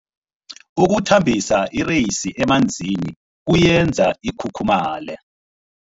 Ukuthambisa ireyisi emanzini kuyenza ikhukhumaye.